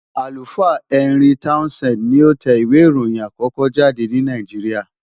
Àlùfáà Henry Townsend ni ó tẹ ìwé ìròyìn àkókó jáde ní Nàìjíríà.